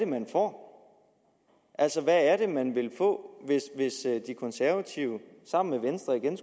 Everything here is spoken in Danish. man får altså hvad det er man vil få hvis de konservative sammen med venstre igen